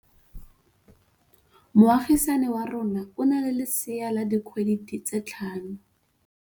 Moagisane wa rona o na le lesea la dikgwedi tse tlhano.